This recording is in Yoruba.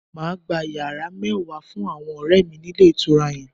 Mà á gba yàrá mẹ́wàá fún àwọn ọ̀rẹ̀ mi ní Ilé Ìtura yan